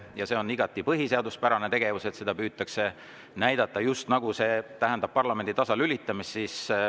Ja see on igati põhiseaduspärane tegevus, kuigi seda püütakse näidata just nagu parlamendi tasalülitamist.